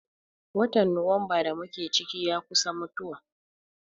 Watan Nuwamba da mu ke ciki, ya kusa mutuwa.